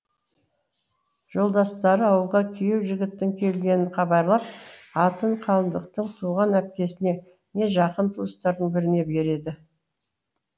жолдастары ауылға күйеу жігіттің келгенін хабарлап атын қалыңдықтың туған әпкесіне не жақын туыстарының біріне береді